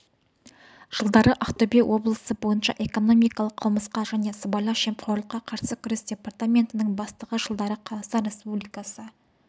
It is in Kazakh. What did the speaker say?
жылдары ақтөбе облысы бойынша экономикалық қылмысқа және сыбайлас жемқорлыққа қарсы күрес департаментінің бастығы жылдары қазақстан республикасы